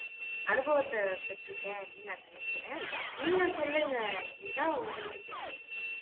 அனுபவத்தை பெற்று இருக்கேன் அப்படின்னு நான் நினைக்கிறேன் நீங்க சொல்லுங்க கீதா உங்களுக்கு தெரிஞ்சது